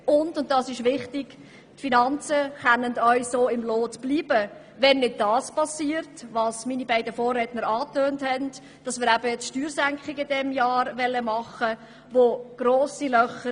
Zudem können die Finanzen auch im Lot bleiben, wenn nicht das geschieht, was meine beiden Vorredner angetönt haben, nämlich dass man in diesem Jahr Steuersenkungen vornehmen will.